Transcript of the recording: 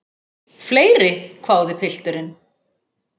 Fleiri, hváði pilturinn.